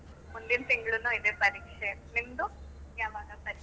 ಮುಂದಿನ್ ತಿಂಗ್ಳುನು ಇದೆ ಪರೀಕ್ಷೆ. ನಿಮ್ದು ಯಾವಾಗ ಪರೀಕ್ಷೆ?